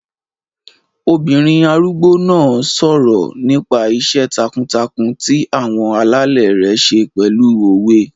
Obìnrin arúgbó náà n sọ̀rọ̀ nípa iṣẹ́ takuntakun ti àwọn alẹ́lẹ̀ rẹ̀ ṣe pẹ̀lú òwe